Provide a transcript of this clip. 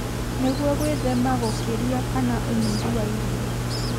nĩguo gwĩthema gũkĩria kana ũnyihu wa irio.